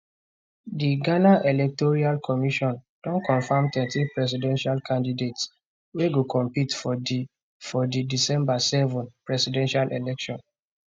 di ghana electoral commission don confam thirteen presidential candidates wey go compete for di for di december 7 presidential election